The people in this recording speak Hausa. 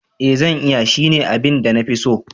Ee zan iya, shine abin da na fi so.